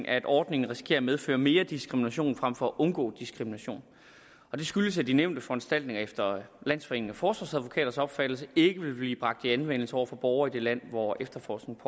at ordningen risikerer at medføre mere diskrimination frem for at undgå diskrimination det skyldes at de nævnte foranstaltninger efter landsforeningen af forsvarsadvokaters opfattelse ikke vil blive bragt i anvendelse over for borgere i det land hvor efterforskningen